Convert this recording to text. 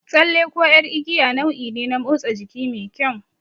Tsalle ko ƴar igiya nau'i ne na motsa jiki mai kyau.